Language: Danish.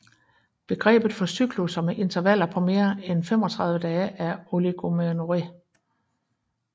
Begrebet for cyklusser med intervaller på mere end 35 dage er oligomenorré